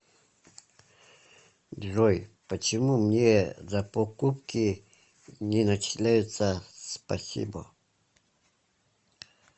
джой почему мне за покупки не начисляются спасибо